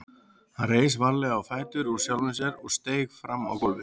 Hann reis varlega á fætur úr sjálfum sér og steig fram á gólfið.